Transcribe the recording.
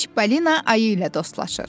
Çipalina ayı ilə dostlaşır.